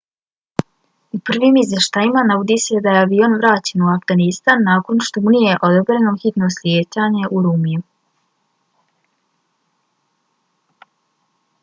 u prvim izvještajima navodi se da je avion vraćen u afganistan nakon što mu nije odobreno hitno slijetanje u ürümqiju